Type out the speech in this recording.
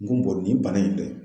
N ko Baru nin bana in dɛ